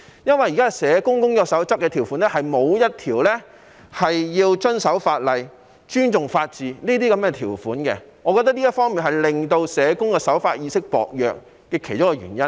因為現時《工作守則》的條款中，沒有一項條款是要求社工須遵守法例、尊重法治，我認為這是其中一個令社工守法意識薄弱的原因。